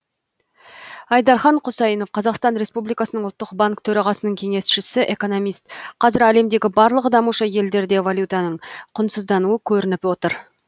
айдархан құсайынов қазақстан республикасының ұлттық банк төрағасының кеңесшісі экономист қазір әлемдегі барлық дамушы елдерде валютаның құнсыздануы көрініп отыр